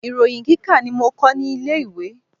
Ìròyin kíkà ni mo kọ́ ní ilé ìwé.